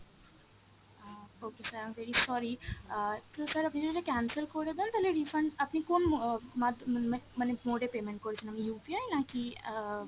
ah okay sir, i am very sorry, ah কিন্তু sir আপনি যদি cancel করে দেন তালে refund আপনি কোন আহ মাধ্যমে মানে mode এ payment করেছিলেন, UPI নাকি আহ